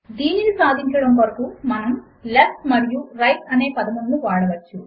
దీనిని సాధించడము కొరకు మనము లెఫ్ట్ మరియు రైట్ అనే పదములను వాడవచ్చు